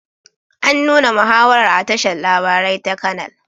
An nuna muhawarar a tashar labarai ta canal